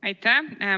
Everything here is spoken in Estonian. Aitäh!